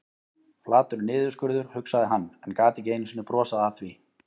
Flatur niðurskurður, hugsaði hann, en gat ekki einu sinni brosað að því.